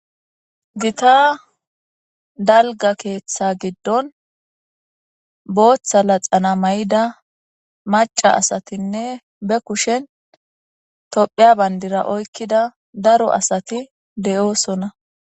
Gita dalga keeththa giddon booththa la xana may'ida maca asatinne be kushen topheya bayndira oykkida daro asati de'oosona.